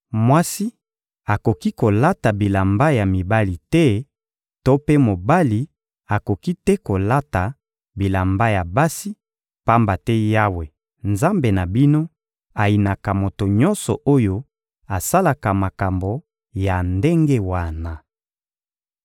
Mwasi akoki kolata bilamba ya mibali te to mpe mobali akoki te kolata bilamba ya basi, pamba te Yawe, Nzambe na bino, ayinaka moto nyonso oyo asalaka makambo ya ndenge wana.